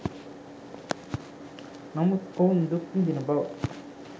නමුත් ඔවුන් දුක් විඳින බව